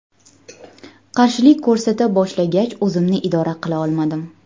Qarshilik ko‘rsata boshlagach o‘zimni idora qila olmadim.